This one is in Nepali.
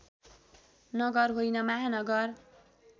नगर होइन महानगर